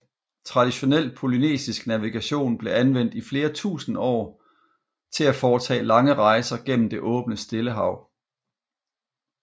Traditionel polynesisk navigation blev anvendt i flere tusinde år til at foretage lange rejser gennem det åbne Stillehav